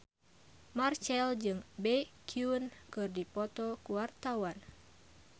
Marchell jeung Baekhyun keur dipoto ku wartawan